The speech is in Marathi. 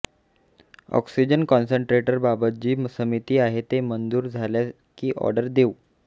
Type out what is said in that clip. ऑक्सिजन कॉन्सनट्रेटरबाबत जी समिती आहे ते मंजूर झाला की ऑर्डर देऊ